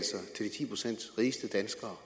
ti procent rigeste danskere